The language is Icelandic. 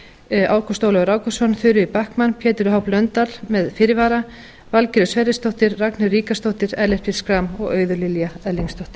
formaður ágúst ólafur ágústsson þuríður backman pétur h blöndal með fyrirvara valgerður sverrisdóttir ragnheiður ríkarðsdóttir ellert b schram og auður lilja erlingsdóttir